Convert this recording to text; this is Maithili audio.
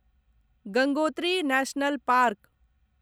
Gangotri national park